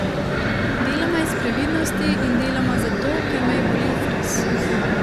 Deloma iz previdnosti in deloma zato, ker me je bolel fris.